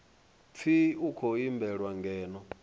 pfi u khou imbelwa ngeno